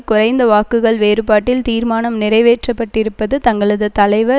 குறைந்த வாக்குகள் வேறுபாட்டில் தீர்மானம் நிறைவேற்றப்பட்டிருப்பது தங்களது தலைவர்